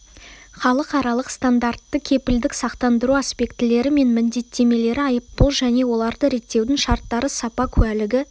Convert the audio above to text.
халықаралық-стандартты кепілдік-сақтандыру аспектілері мен міндеттемелері айыппұл және оларды реттеудің шарттары сапа куәлігі